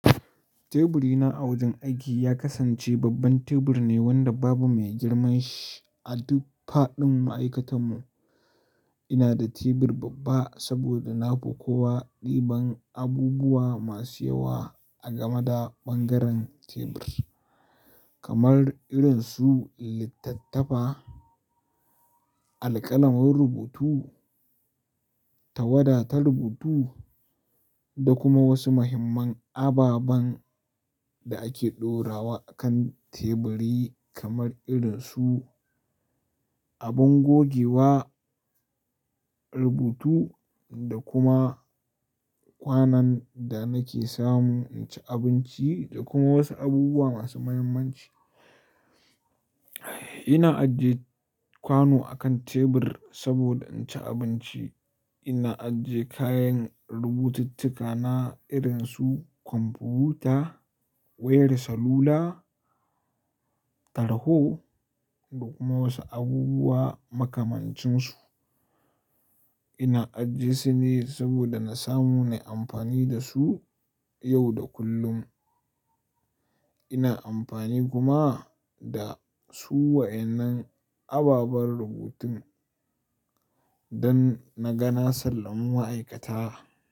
Teburina a wajen aiki ya kasance babban tebur ne wanda babu mai girman shi a duk faɗin ma'aikatan mu. Ina da tebur babba saboda nafi kowa ɗiban abubuwa masu yawa a gameda ɓangaren tebur, kamar irin su littattafa, alƙalamin rubutu, tawada ta rubutu da kuma wasu muhimman ababan da ake ɗorawa akan teburi kamar irin su abin gogewa, rubutu da kuma kwanan da nake samu in ci abinci da kuma wasu abubuwa masu muhimmanci. Ina ajiye kwano akan tebur saboda in ci abinci. Ina ajiye kayan rubutattuka na irin su kwamfuta, wayar salula, tarho da kuma wasu abubuwa makamancin su. Ina ajiye sune saboda na samu na yi amfani da su yau da kullum. Ina amfani kuma da su waɗannan ababen rubutun dan na ga na sallami ma'aikata.